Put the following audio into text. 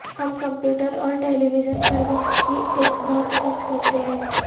ہم کمپیوٹر اور television پر وقت کی ایک بہت خرچ کرتے ہیں